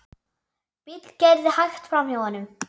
Bíll keyrði hægt framhjá honum.